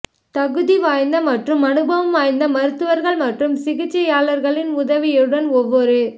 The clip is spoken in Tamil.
தகுதிவாய்ந்த மற்றும் அனுபவம் வாய்ந்த மருத்துவர்கள் மற்றும் சிகிச்சையாளர்களின் உதவியுடன் ஒவ்வொரு